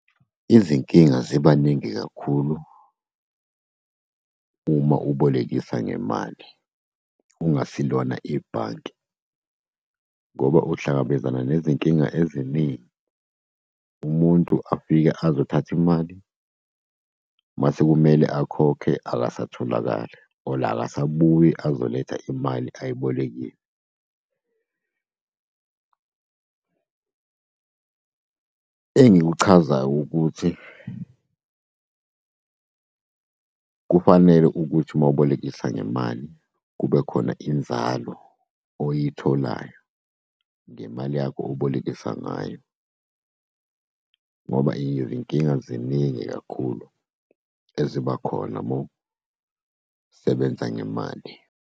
Izinkinga ziba ningi kakhulu uma ubolekisa ngemali, ungasilona ibhanki, ngoba uhlangabezana nezinkinga eziningi. Umuntu afike azothatha imali masekumele akhokhe, akasatholakali or akasabuyi azoletha imali ayibolekile. Engikuchazayo ukuthi, kufanele ukuthi ma ubolekisa ngemali, kubekhona inzalo oyitholayo ngemali yakho obolekisa ngayo, ngoba izinkinga ziningi kakhulu eziba khona mawusebenza ngemali.